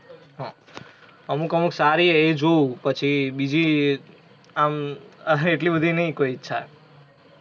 હમ અમુક અમુક સારી હે એ જોવુ પછી બિજી આમ આહ એટલી બધી એય નહી કોય ઇચ્છા.